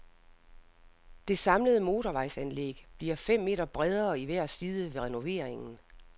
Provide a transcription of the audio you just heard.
Det samlede motorvejsanlæg bliver fem meter bredere i hver side ved renoveringen.